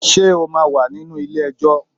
Ṣé o máa wà nínú ilé ẹjọ́?